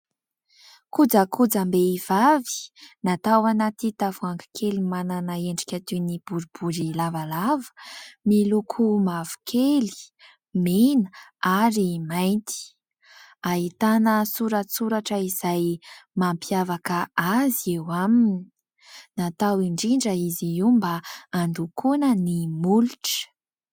Kojakojam-behivavy, natao anaty tavoahangy kely manana endrika toy ny boribory lavalava, miloko mavokely, mena ary mainty. Ahitana soratsoratra izay mampiavaka azy eo aminy. Natao indrindra izy io mba handokoana ny molotra.